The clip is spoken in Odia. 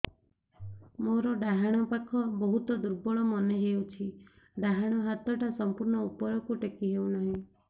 ମୋର ଡାହାଣ ପାଖ ବହୁତ ଦୁର୍ବଳ ମନେ ହେଉଛି ଡାହାଣ ହାତଟା ସମ୍ପୂର୍ଣ ଉପରକୁ ଟେକି ହେଉନାହିଁ